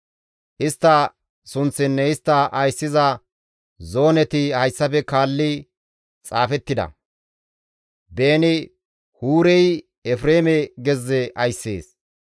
Istta sunththinne istta ayssiza zooneti hayssafe kaallidi xaafettida. Beeni-Huurey Efreeme gezze ayssees.